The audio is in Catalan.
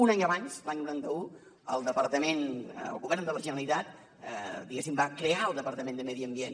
un any abans l’any noranta un el govern de la generalitat diguéssim va crear el departament de medi ambient